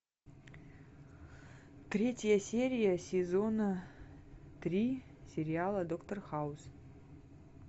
третья серия сезона три сериала доктор хаус